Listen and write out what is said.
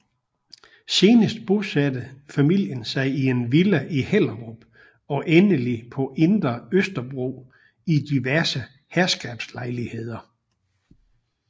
Senere bosatte familien sig i en villa i Hellerup og endelig på Indre Østerbro i diverse herskabslejligheder